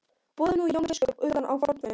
Boðum nú Jón biskup utan á vorn fund.